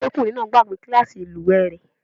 Ọmọdékùnrin náà gbàgbe kílàsì ìlúwè rẹ̀.